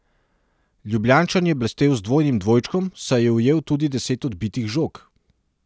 Ljubljančan je blestel z dvojnim dvojčkom, saj je ujel tudi deset odbitih žog.